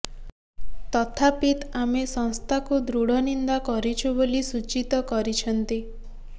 ତଥାପିତ ଆମେ ସଂସ୍ଥାକୁ ଦୃଢ ନିନ୍ଦା କରିଛୁ ବୋଲି ସୂଚିତ କରିଛନ୍ତି